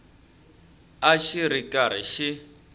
a xi ri karhi xi